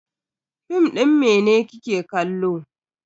Fim din mene kike kallo?